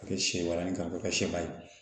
A kɛ sɛ baranin k'a kɛ sɛba ye